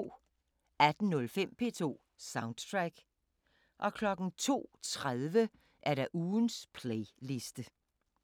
18:05: P2 Soundtrack 02:30: Ugens playliste